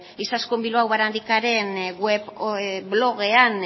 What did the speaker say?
izaskun bilbao barandikaren blogean